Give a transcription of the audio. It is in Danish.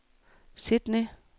Sydney